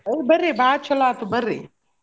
ಓ ಬರ್ರಿ ಬಾಳ್ ಚೊಲೋ ಆತ್ ಬರ್ರಿ.